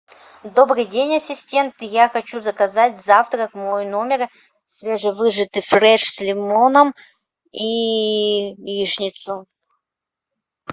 добрый день ассистент я хочу заказать завтрак в мой номер свежевыжатый фреш с лимоном и яичницу